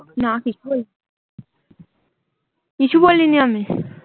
না কিছু বলিনি। কিছু বলিনি আমি।